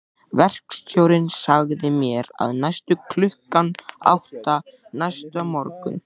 Verkstjórinn sagði mér að mæta klukkan átta næsta morgun.